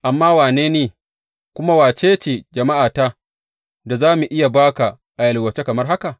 Amma wane ni, kuma wace ce jama’ata da za mu iya ba ka a yalwace kamar haka?